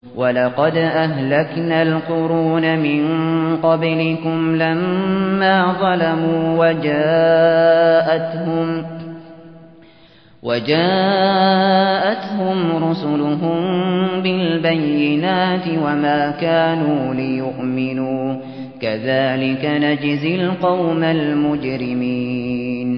وَلَقَدْ أَهْلَكْنَا الْقُرُونَ مِن قَبْلِكُمْ لَمَّا ظَلَمُوا ۙ وَجَاءَتْهُمْ رُسُلُهُم بِالْبَيِّنَاتِ وَمَا كَانُوا لِيُؤْمِنُوا ۚ كَذَٰلِكَ نَجْزِي الْقَوْمَ الْمُجْرِمِينَ